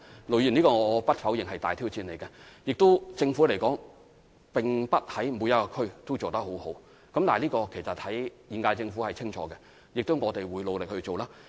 盧議員，我不否認這是一項大挑戰，政府也並非在每區都做得很好，但現屆政府對此是清楚的，而我們亦會努力去做。